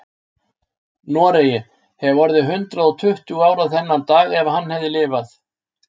Noregi, hefði orðið hundrað og tuttugu ára þennan dag ef hann hefði lifað.